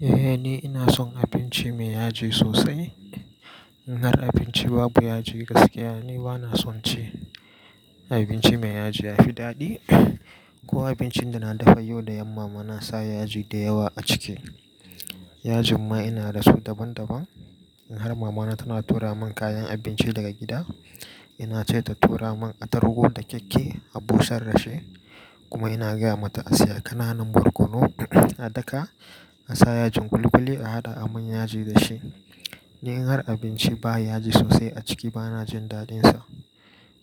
Eh ni ina son abinci me yaji sosai. In har abinci babu yaji gaskiya ni bana son ci. Abinci me yaji yafi daɗi. Ko abincin da na dafayo da yam mama na sa yaji da yawa a ciki. Yajin ma ina da su daban daban. In har mama na tana tura mun kayan abinci daga gida, ina ce ta tura mun atarugu da keke a busar da shi kuma ina gaya mata a siya ƙananan barkono a daka a sa yajin ƙuli ƙuli a haɗa a mun yaji da shi. Ni in har abinci ba yaji sosai a ciki bana jin daɗin sa.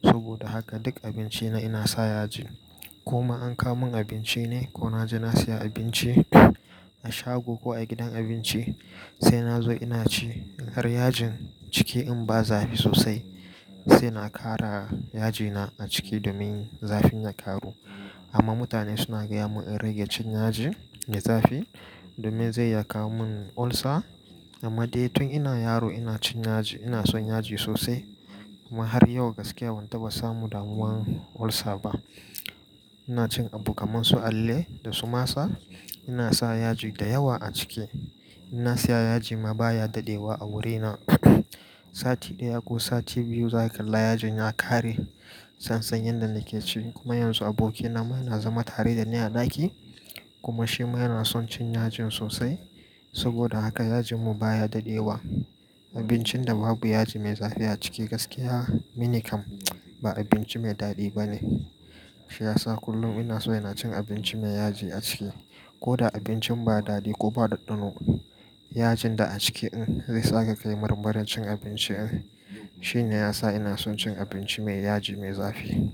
Saboda haka duk abinci na ina sa yaji ko ma an ka mun abinci ne ko na je na siya abinci a shago ko a gidan abinci, sai na zo ina ci. In har yajin ciki in ba zafi sosai sai na ƙara yajina a ciki domin zafin ya ƙaru. Amma mutane suna gaya mun in rage cin yaji da zafi domin zai ya kawo mun ulcer. Amma dai tun ina yaro ina cin yaji, ina son yaji sosai kuma har yau gaskiya ban taɓa samu damuwan ulcer ba. Ina cin abu kaman su alale da sumasa ina sa yaji da yawa a ciki. Ina siya yaji ma baya dadewa a wuri na. Sati ɗaya ko sati biyu zaka kalla yajin ya ƙare sanan yadda nake ci kuma yanzu abokina ma yana zama tare da ni a ɗaki kuma shi ma yana son cin yajin sosai. Saboda haka yajin mu baya dadewa. Abincin da babu yaji mai zafi a ciki gaskiya minikam ba abinci mai daɗi bane. Shi yasa kullum ina so ina cin abinci me yaji a ciki. Koda abincin ba daɗi ko ba dadɗano yajin da a ciki in zai saka kayi marmarin cin abinci. Shi ne yasa ina son cin abinci me yaji mai zafi.